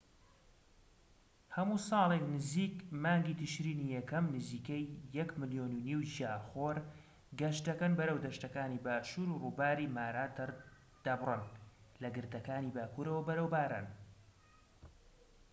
هەموو ساڵێك نزیک مانگی تشرینی یەکەم نزیکەی ١.٥ ملیۆن گیاخۆر گەشت دەکەن بەرەو دەشتەکانی باشوور و ڕووباری مارا دەبڕن لە گردەکانی باکورەوە بەرەو باران